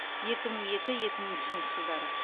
екі мың екі екі мың үшінші жылдары